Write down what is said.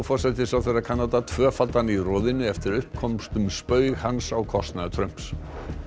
forsætisráðherra Kanada tvöfaldan í roðinu eftir að upp komst um spaug hans á kostnað Trumps